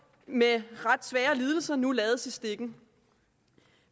med ret svære lidelser nu lades i stikken